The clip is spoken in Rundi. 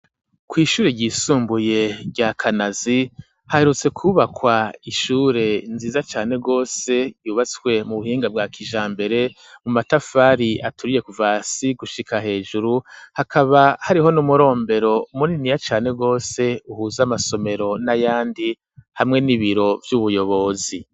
Kw’ishure ryisumbuye rya Kanazi, haherutse kwubakwa ishure nziza cane gose, yubatswe mu buhinga bwa kijambere, mu matafari aturiye kuva hasi gushika hejuru; hakaba hariho n'umurombero muniniya cane gose uhuza amasomero n'ayandi, hamwe n'ibiro vy'ubuyobozi.